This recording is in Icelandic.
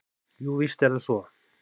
Jú, víst er það svo.